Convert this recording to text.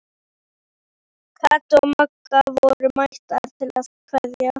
Kata og Magga voru mættar til að kveðja.